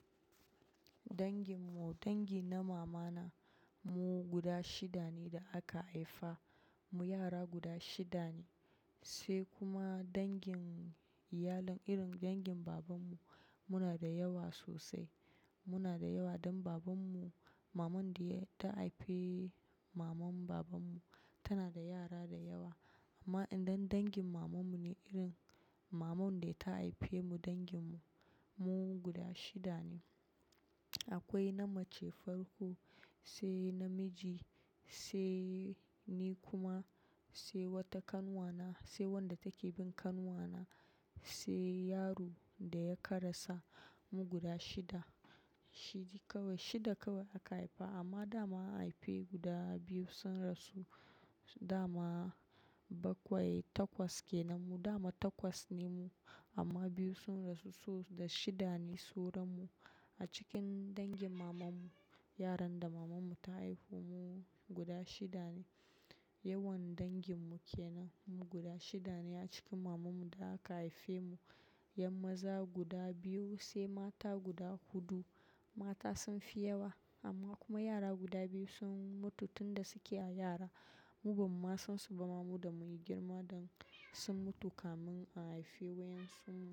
Dangin mu, dangi na mama na, mu guda shida ne da aka haifa. Mu yara guda shida ne, sai kuma dangin iyalin, irin dangin babanmu, muna da yawa sosai. Muna da yawa dan babanmu, maman da ta haife maman babanmu tana da yara da yawa. Amma idan dangin mamanmu ne irin, maman da ta haife mu, danginmu mu guda shida ne. Akwai na mace farko, sai na miji, sai ni kuma, sai wata kanwa na, sai wadda take bin kanwa na, sai yaron da ya karasa. Mu guda shida, shida kawai shida kawai aka haifa amma dama an haifi guda biyu sun rasu. Dama bakwai, takwas kenan mu, dama takwas ne mu amma biyu sun rasu. So da shida ne sauran mu. A cikin dangin maman mu, yaran da maman mu ta haifo mu guda shida ne. Yawan danginbmu kenan, mu guda shida ne a cikin maman mu da aka haife mu. 'Yan maza guda biyu sai mata guda huɗu. Mata sun fi yawa amma kuma yara guda biyu sun mutu tun da suke a yara. Mu bamu ma san su ba ma mu da mun yi girma dan sun mutu kamin a haifi waƴensun mu.